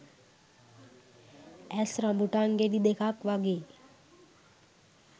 ඇස් රඹුටන් ගෙඩි දෙකක් වගේ